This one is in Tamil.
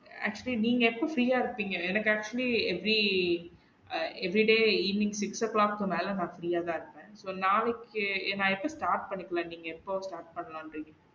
Actually நீங்க எப்ப free யா இருப்பேங்க எனக்கு actually every uh everyday evening six'O clock மேல நான் free யா தான் இருப்பேன் so நாளைக்கே நா எப்ப start பண்ணிக்கலாம் நீங்க எப்ப start பண்ணலாம்ன்னு இருக்கீங்க?